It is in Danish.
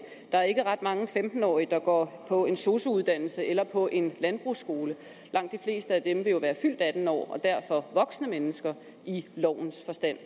der er ikke ret mange femten årige der går på en sosu uddannelse eller på en landbrugsskole langt de fleste af dem vil jo være fyldt atten år og derfor voksne mennesker i lovens forstand